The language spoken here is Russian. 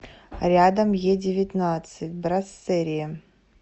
рядом едевятнадцать брассерие